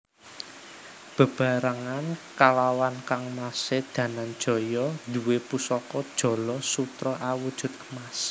Beberangan kalawan kangmasé Dananjaya nduwé pusaka jala sutra awujud emas